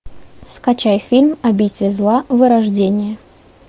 скачай фильм обитель зла вырождение